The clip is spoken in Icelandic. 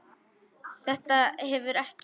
Þetta hefur ekki.?